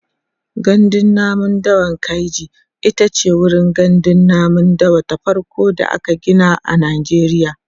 gandun namun dawan kainji itace wurin gandun namun dawa ta farko da aka Gina a najeriya